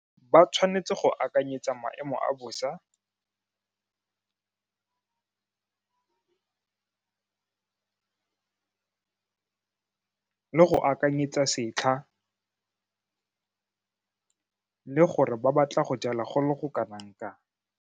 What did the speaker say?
Ba tshwanetse go akanyetsa maemo a bosa le go akanyetsa setlha le gore ba batla go jala go le go kanang kang.